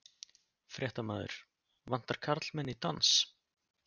Fréttamaður: Vantar karlmenn í dans?